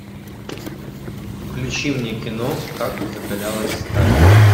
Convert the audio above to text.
включи мне кино как закалялась сталь